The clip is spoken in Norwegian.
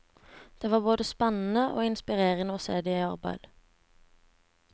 Det var både spennende og inspirerende å se dem i arbeid.